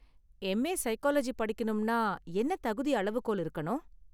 M. A. Psychology படிக்கணும்னா என்ன தகுதி அளவுகோல் இருக்கணும்?